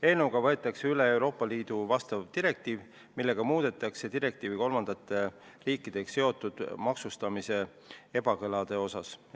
Eelnõuga võetakse üle vastav Euroopa Liidu direktiiv, millega muudetakse direktiivi kolmandate riikidega seotud maksustamise ebakõlade osas.